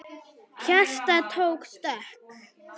Hjartað tók stökk!